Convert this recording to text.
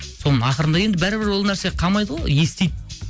соны ақырында енді бәрібір ол нәрсе қалмайды ғой естиді